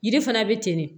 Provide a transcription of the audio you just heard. Yiri fana bɛ ten de